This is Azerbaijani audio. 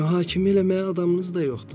Mühakimə eləməyə adamınız da yoxdur.